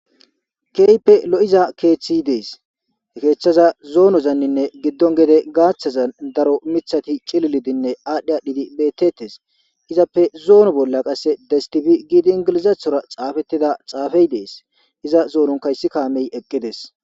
Kehippe loiza keeththi dees he keeththaza zononine gede giddozan gaththani daro miththati cililidinne adhi adhidi beteteesi izappe zuma bola ingilizathora destib gidi xaafetida xasfey dees iza matanikka kamey eqidees